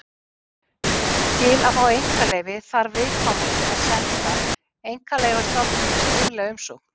Til að fá einkaleyfi þarf viðkomandi að senda Einkaleyfastofunni skriflega umsókn.